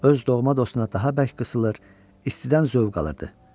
Öz doğma dostuna daha bərk qısılır, istidən zövq alırdı.